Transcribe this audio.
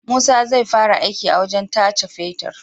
Musa zai fara aiki a wajan tace fetir